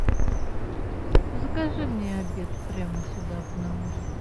закажи мне обед прямо сюда в номер